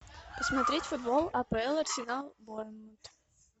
посмотреть футбол апл арсенал борнмут